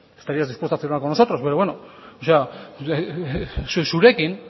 estarías dispuesto a firmar con nosotros pero bueno zurekin